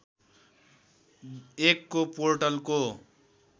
१ को पोर्टलको